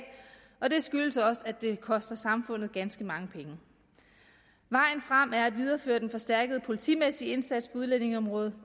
og det skyldes også at det koster samfundet ganske mange penge vejen frem er at videreføre den forstærkede politimæssige indsats på udlændingeområdet